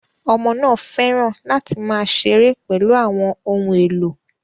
Ọmọ náà fẹ́ràn láti máa ṣeré pẹ̀lú àwọn ohun èlò